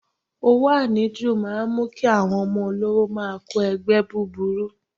Owó àníjù máa ń mú kí àwọn ọmọ olówó máa kó ẹgbẹ́ búburú.